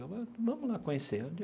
Vamos lá conhecer.